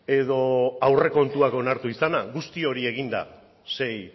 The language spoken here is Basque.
edo aurrekontuak onartu izana guzti hori egin da sei